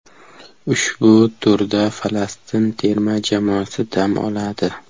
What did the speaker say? Ushbu turda Falastin terma jamoasi dam oladi.